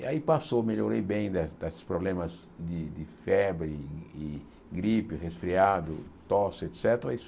E aí passou, melhorei bem da desses problemas de febre, e e gripe, resfriado, tosse, et cétera.